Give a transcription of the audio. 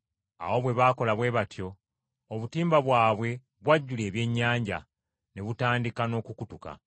Awo bwe baakola bwe batyo, obutimba bwabwe bwajjula ebyennyanja, ne butandika n’okukutuka.